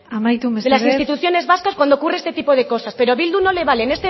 de las instituciones amaitu mesedez vascas cuando ocurre este tipo de cosas pero a bildu no le valen